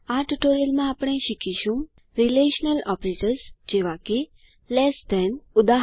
આ ટ્યુટોરીયલમાં આપણે શીખીશું રીલેશનલ ઓપરેટર્સ જેવા કે લેસ ધેન160 ઉદા